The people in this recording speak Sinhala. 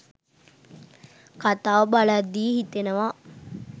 කතාව බලද්දී හිතෙනවා.